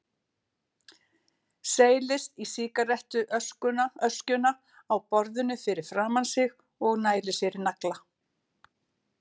Seilist í sígarettu öskjuna á borðinu fyrir framan sig og nælir sér í nagla.